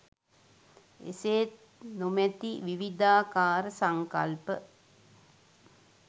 එසේත් නොමැති විවිධාකාර සංකල්ප